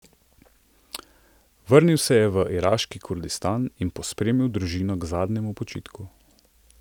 Vrnil se je v iraški Kurdistan in pospremil družino k zadnjemu počitku.